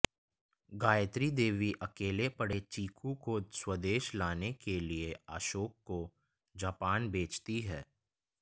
गायत्री देवी अकेले पड़े चीकु को स्वदेश लाने के लिए अशोक को जापान भेजती है